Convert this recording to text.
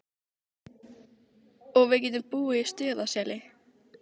Og við getum búið í Stuðlaseli.